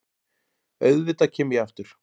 Auðvitað kem ég aftur.